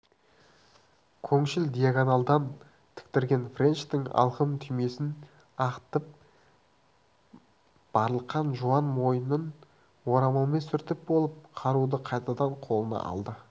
көкшіл диагональдан тіктірген френчтің алқым түймесін ағытып барлыққан жуан мойнын орамалмен сүртіп болып қаруды қайтадан қолына алды